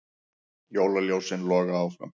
Jólaljósin logi áfram